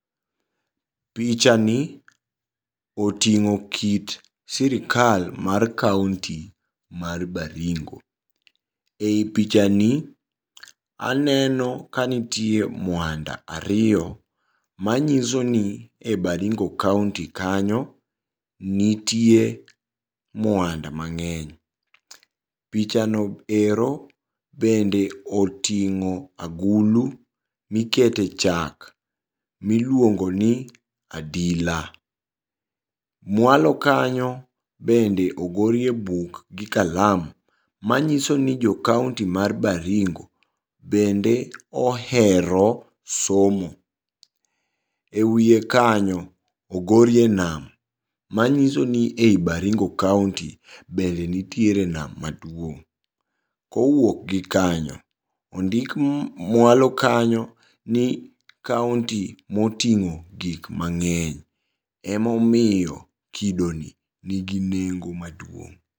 Pichani oting'o kit sirikal mar county mar Baringo. Ei pichani aneno kanitie mwanda ariyo manyisoni e Baringo county kanyo nitie mwanda mang'eny. Pichano ero bende oting'o agulu mikete chak miluongoni adila. Mwalo kanyo bende ogorie buk gi kalam manyisoni jocounty mar Baringo bende ohero somo. E wie kanyo ogorie nam manyisoni ei Baringo county bende nitiere nam maduong'. Kowuok gi kanyo ondik mwalo kanyo ni county moting'o gikmang'eny emomiyo kidoni nigi nengo maduong'.